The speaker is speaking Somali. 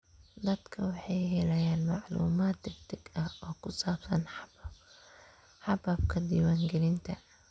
Dadku waxay helayaan macluumaad degdeg ah oo ku saabsan hababka diiwaangelinta.